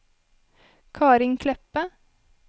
Karin Kleppe